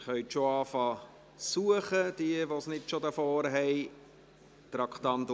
Sie können bereits mit Suchen beginnen, falls Sie die Unterlagen nicht schon vor sich haben.